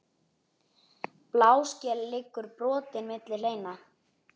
Bláskel liggur brotin milli hleina.